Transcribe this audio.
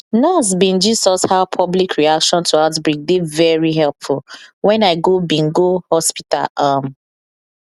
nurse bin gist us how public reaction to outbreak dey very helpful wen i go bin go hospital um